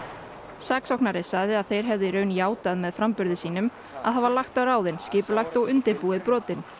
saksóknari sagði að þeir hefðu í raun játað með framburði sínum að hafa lagt á ráðin skipulagt og undirbúið brotin